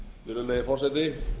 virðulegi forseti